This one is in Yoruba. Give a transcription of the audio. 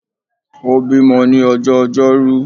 Ó bímo ní ọjọ́ ojọ́rú